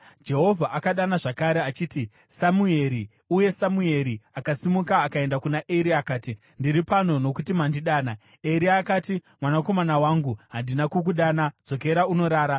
Jehovha akadana zvakare achiti, “Samueri!” Uye Samueri akasimuka akaenda kuna Eri akati, “Ndiri pano, nokuti mandidana.” Eri akati, “Mwanakomana wangu, handina kukudana; dzokera unorara.”